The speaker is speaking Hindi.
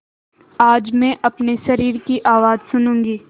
आज मैं अपने शरीर की आवाज़ सुनूँगी